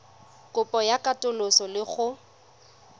kopo ya katoloso le go